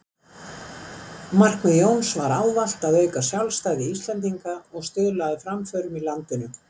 Markmið Jóns var ávallt að auka sjálfstæði Íslendinga og stuðla að framförum á landinu.